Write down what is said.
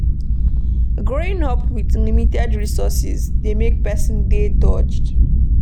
Growing up with limited resources dey make person dey dogged